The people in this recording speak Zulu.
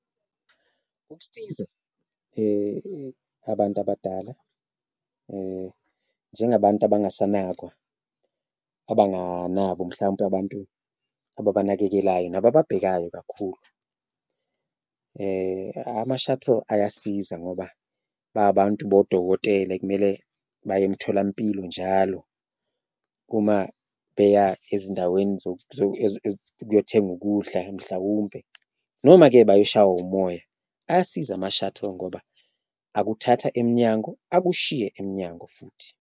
Ukusiza abantu abadala njengabantu abangasanakwa, abanganabo mhlawumpe abantu ababanakekelayo nabababhekayo kakhulu, ama-shuttle ayasiza ngoba babantu bodokotela ekumele baye emtholampilo njalo, uma beya ezindaweni ukuyothenga ukudla mhlawumpe, noma-ke bayoshaywa umoya. Ayasiza ama-shuttle ngoba akuthatha emnyango, akushiye iminyango futhi.